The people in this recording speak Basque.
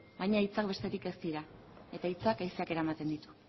baina hitzak besterik ez dira eta hitzak haizeak eramaten ditu